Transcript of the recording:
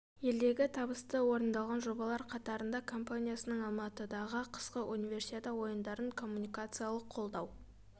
елдегі табысты орындалған жобалар қатырнда компаниясының алматыдағы қысқы универсиада ойынарын коммуникациялық қолдау